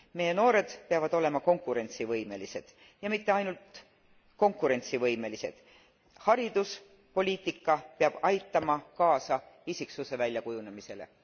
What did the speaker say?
Meie noored peavad olema konkurentsivõimelised ja mitte ainult konkurentsivõimelised hariduspoliitika peab aitama kaasa isikusse väljakujunemisele.